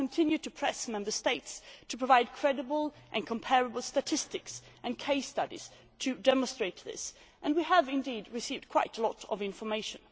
We have continued to press Member States to provide credible and comparable statistics and case studies to demonstrate this, and we have received quite a lot of information.